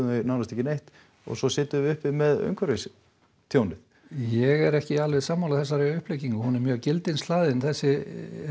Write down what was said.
nánast ekki neitt og svo sitjum við uppi með umhverfistjónið ég er ekki sammála þessari uppleggingu hún er mjög gildishlaðin þessi